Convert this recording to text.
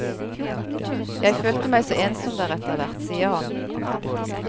Jeg følte meg så ensom der etter hvert, sier han.